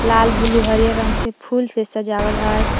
लाल ब्लू हरियर रंग से फूल से सजावल हय।